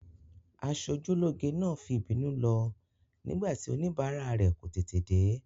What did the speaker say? Aṣojúlóge náà fi ìbínú lọ nígbà tí oníbàárà rẹ̀ kò tètè dé.